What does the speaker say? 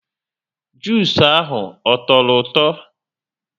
Jusu ahụ ọ tọrọ ụtọ?